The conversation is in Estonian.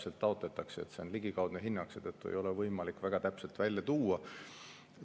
See on ligikaudne hinnang, seetõttu ei ole võimalik väga täpselt välja tuua.